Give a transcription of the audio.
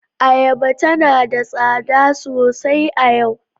Ayaba tana da tsada sosai a yau.